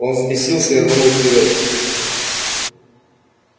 он взбесился и рванул вперёд